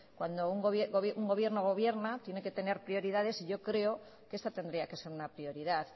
cuando un gobierno gobierna tiene que tener prioridades y yo creo que esta tendría que ser una prioridad